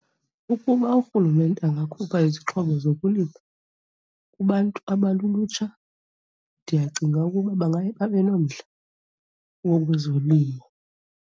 Ukuba urhulumente angakhupha izixhobo zokulima kubantu abalulutsha ndiyacinga ukuba bangaye babe nomdla wezolimo.